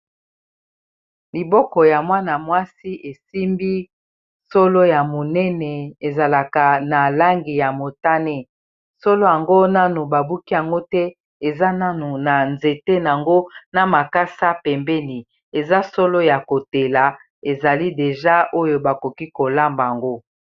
Liboko ya mwana-mwasi esimbi solo ya monene ezalaka na langi ya motane solo yango nanu babuki yango te eza nanu na nzete nango na makasa pembeni eza solo ya kotela ezali deja oyo bakoki kolamba yango.